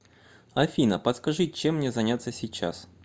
афина подскажи чем мне заняться сейчас